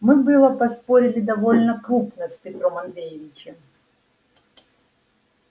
мы было поспорили довольно крупно с петром андреичем